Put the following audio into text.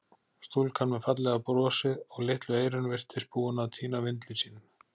Stúlkan með fallega brosið og litlu eyrun virtist búin að týna vindli sínum.